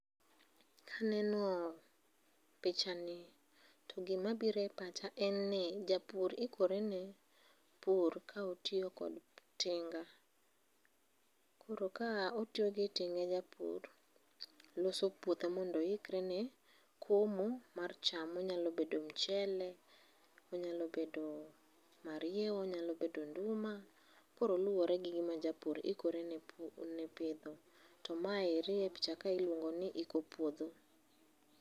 Kaneno pichani, to gima biro e pacha en ni, japur ikore ne pur ka otiyo kod tinga. Koro ka otiyo gi tinga japur, loso puothe mondo oikre ne komo mar cham. Onyalo bedo mchele, onyalo bedo mariewa, onyalo bedo nduma. Koro luwore gi gima japur ikorene pidho. To maeri e pichaka iluongo ni iko puodho.